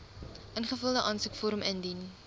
ingevulde aansoekvorm indien